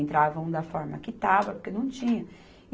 Entravam da forma que estava, porque não tinha.